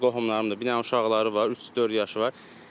Mənim öz qohumlarımdır, bir dənə uşaqları var, üç-dörd yaşı var.